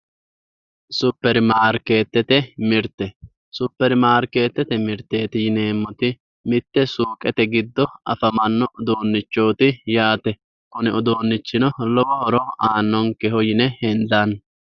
Superimaarkeetete mirte, Superimaarkeetete mirteeti yineemmoti mitte suuqete giddo afamanno uduunnichooti yaate. Kuni uduunnichino lowo horo aannonkeho yine hendanni.